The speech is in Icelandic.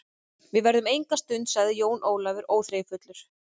Við verðum enga stund, sagði Jón Ólafur óþreyjufullur.